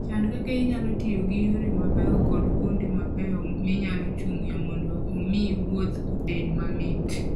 Chan kaka inyalo tiyo gi yore mabeyo koda kuonde mabeyo minyalo chung'ie mondo omi wuoth obed mamit.